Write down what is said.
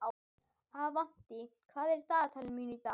Avantí, hvað er í dagatalinu mínu í dag?